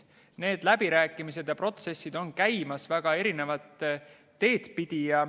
Need läbirääkimised ja protsessid on käimas väga erinevaid teid pidi.